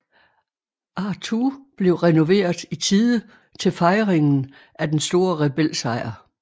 Artoo blev renoveret i tide til fejringen af den store Rebel sejr